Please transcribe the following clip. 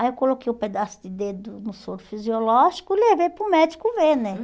Aí eu coloquei o pedaço de dedo no soro fisiológico e levei para o médico ver, né?